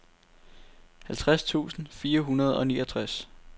halvtreds tusind fire hundrede og niogtres